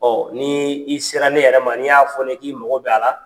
ni i sera ne yɛrɛ ma n'i y'a fɔ ne ye k'i mago b'a la